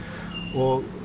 og